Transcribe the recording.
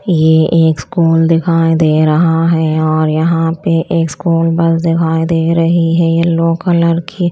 ये एक स्कूल दिखाई दे रहा हैं और यहां पे एक स्कूल बस दिखाई दे रही है येलो कलर की।